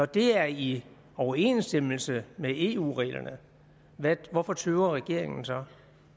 det er i overensstemmelse med eu reglerne hvorfor tøver regeringen så